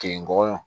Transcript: Ke ngɔyɔ